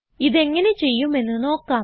ഇതെങ്ങനെ ചെയ്യുമെന്ന് നോക്കാം